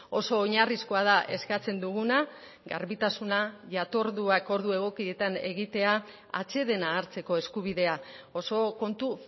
oso oinarrizkoa da eskatzen duguna garbitasuna jatorduak ordu egokietan egitea atsedena hartzeko eskubidea oso kontu